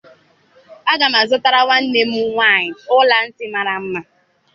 Aga m azụtara nwanne m nwaanyị ọla ntị mara mma.